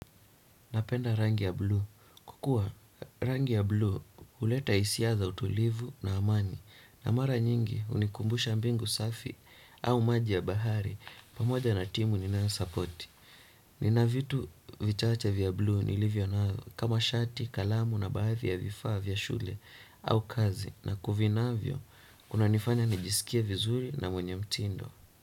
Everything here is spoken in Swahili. Napenda rangi ya blue. Kwa kua rangi ya blue huleta hisia za utulivu na amani na mara nyingi hunikumbusha mbingu safi au maji ya bahari pamoja na timu ninayosapoti. Nina vitu vichache vya blue nilivyo nayo kama shati, kalamu na baadhi ya vifaa vya shule au kazi na kuvinavyo unanifanya nijisikie vizuri na mwenye mtindo.